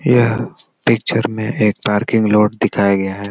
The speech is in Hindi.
यह पिक्चर में एक पार्किंग लोड दिखाया गया है।